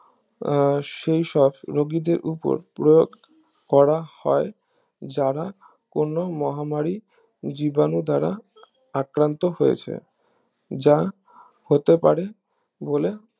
আহ সেইসব রোগীদের উপর প্রয়োগ করা হয় যারা কোনো মহামারী জীবাণু দ্বারা আক্রান্ত হয়েছে যা হতে পারে বলে